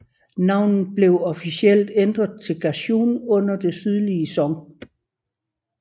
Navnet blev officielt ændret til Ganzhou under Det sydlige Song